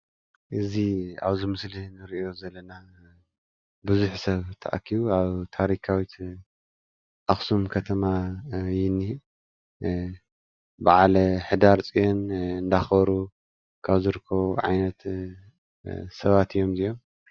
እዚ ኣብዚ ምስሊ ንሪኦ ዘለና ብዙሕ ሰብ ተኣኪቡ ኣብ ታሪካዊት ኣክሱም ከተማ እዩ ዝኒሀ። በዓል ሕዳር ፅዮን እንዳክበሩ ካብ ዝርከቡ ዓይነት ሰባት እዮም እዚኦም ።